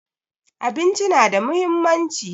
Abinci na da muhimmanci